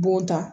B'o ta